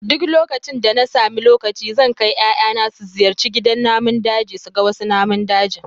Duk lokacin da na sami lokaci zan kai 'ya'yana su ziyarci gidan namun daji su ga wasu namun daji